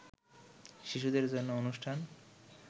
শিশুদের জন্য অনুষ্ঠান